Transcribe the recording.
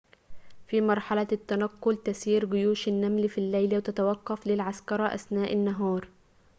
في مرحلة التنقّل تسير جيوش النمل في الليل وتتوقّف للعسكرة أثناء النهار